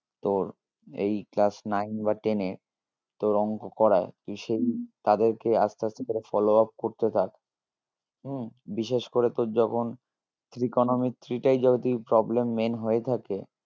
তোর এই class nine বা ten এ তোর অঙ্ক করাই তুই সেই তাদের কে আসতে আসতে করে follow up করতে থাক উম বিশেষ করে তোর যখন trigonometry টাই যদি তোর problem main হয়ে থাকে